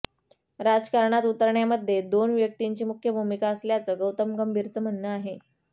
राजकारणात उतरण्य़ामध्ये दोन व्यक्तिंची मुख्य भूमिका असल्याचं गौतम गंभीरचं म्हणणं आहे